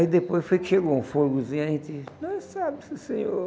Aí depois foi que chegou um fogozinho, a gente... Nós sabe, sim senhor.